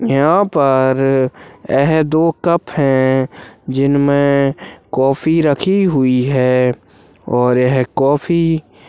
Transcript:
यहाँ पर यह दो कप हैं जिनमें कॉफी रखी हुई है और यहाँ कॉफी --